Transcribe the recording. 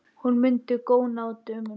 Hún mundi góna á dömuna.